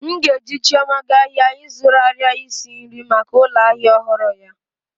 M ga-eji chioma gaa ahịa ịzụrụ arịa isi nri maka ụlọ ahịa ọhụrụ ya